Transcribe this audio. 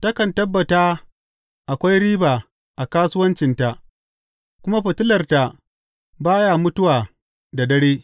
Takan tabbata akwai riba a kasuwancinta, kuma fitilarta ba ya mutuwa da dare.